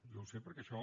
jo ho sé perquè d’això